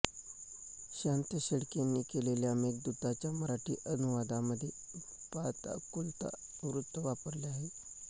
शांत शेळकेंनी केलेल्या मेघदूताच्या मराठी अनुवादामध्ये पादाकुलका वृत्त वापरले आहे